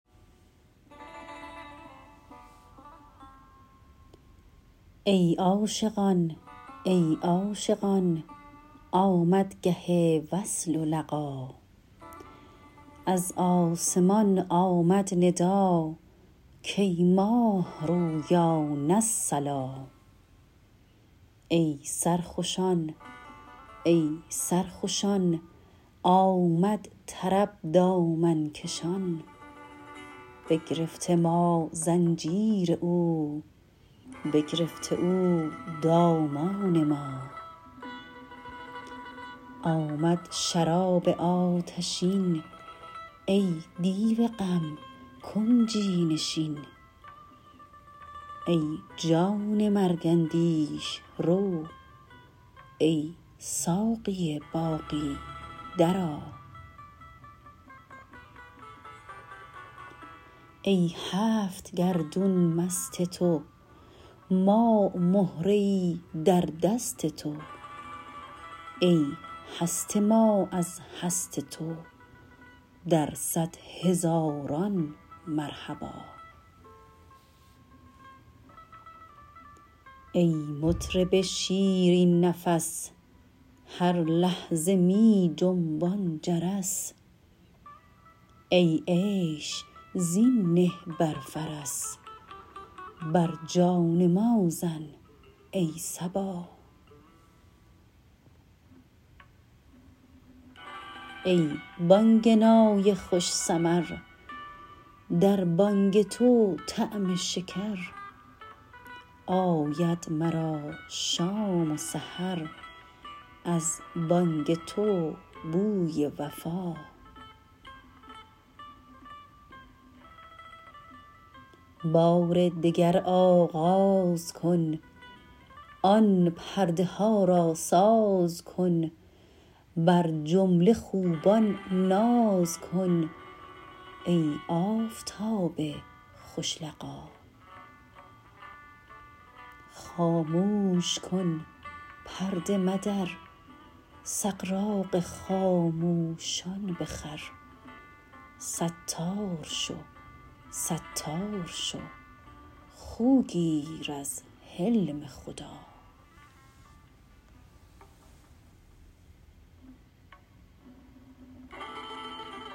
ای عاشقان ای عاشقان آمد گه وصل و لقا از آسمان آمد ندا کای ماه رویان الصلا ای سرخوشان ای سرخوشان آمد طرب دامن کشان بگرفته ما زنجیر او بگرفته او دامان ما آمد شراب آتشین ای دیو غم کنجی نشین ای جان مرگ اندیش رو ای ساقی باقی درآ ای هفت گردون مست تو ما مهره ای در دست تو ای هست ما از هست تو در صد هزاران مرحبا ای مطرب شیرین نفس هر لحظه می جنبان جرس ای عیش زین نه بر فرس بر جان ما زن ای صبا ای بانگ نای خوش سمر در بانگ تو طعم شکر آید مرا شام و سحر از بانگ تو بوی وفا بار دگر آغاز کن آن پرده ها را ساز کن بر جمله خوبان ناز کن ای آفتاب خوش لقا خاموش کن پرده مدر سغراق خاموشان بخور ستار شو ستار شو خو گیر از حلم خدا